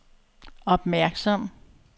opmærksom